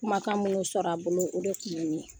Kumakan munnu sɔrɔ an bolo, o de kun ye nin ye.